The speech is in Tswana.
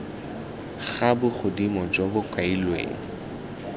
ga bogodimo jo bo kailweng